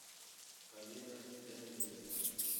алина леонидова